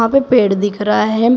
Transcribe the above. यहां पे पेड़ दिख रहा है।